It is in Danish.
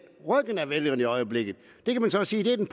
ryggen til af vælgerne i øjeblikket det kan vi så sige er den